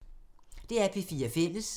DR P4 Fælles